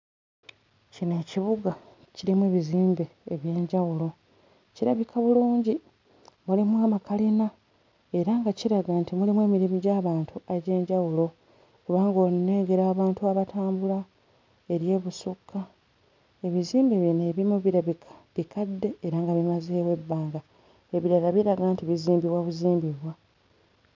Kino kibuga kirimu bizimbe eby'enjawulo kirabika bulungi mulimu amakalina era nga kiraga nti mulimu emirimu gy'abantu egy'enjawulo kuba bo nnengera abantu abatambula eri ebusukka ebizimbe bino ebimu birabika bikadde era nga bimazeewo ebbanga ebirala biraga nti bizimbibwa buzimbibwa.